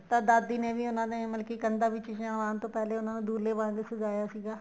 ਤਾਂ ਦਾਦੀ ਨੇ ਵੀ ਉਹਨਾ ਨੇ ਮਤਲਬ ਕੀ ਕੰਧਾ ਵਿੱਚ ਛਿਹਾਣ ਤੋ ਪਹਿਲੇ ਉਹਨਾ ਨੂੰ ਦਹੁੰਲੇ ਵਾਂਗ ਸਜ਼ਾਇਆ ਸੀਗਾ